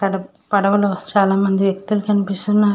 అక్కడ పడవిలో చాలామంది వ్యక్తులు కనిపిస్తున్నారు.